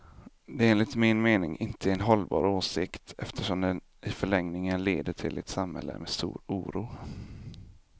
Det är enligt min mening inte en hållbar åsikt, eftersom den i förlängningen leder till ett samhälle med stor oro.